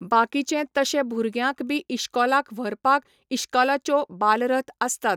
बाकीचे तशे भुरग्यांक बी इश्कोलाक व्हरपाक, इश्कोलाच्यो बालरथ आसतात.